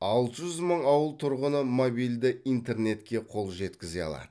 алты жүз мың ауыл тұрғыны мобильді интернетке қол жеткізе алады